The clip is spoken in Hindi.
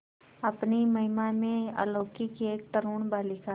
अपनी महिमा में अलौकिक एक तरूण बालिका